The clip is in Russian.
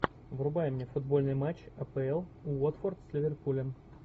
врубай мне футбольный матч апл уотфорд с ливерпулем